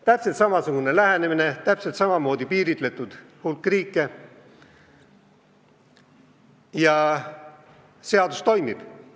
Täpselt samasugune lähenemine, täpselt samamoodi piiritletud hulk riike, ja seadus toimib.